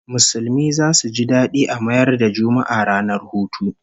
Musulmi zasu ji dadi a mayar da Juma'a ranar hutu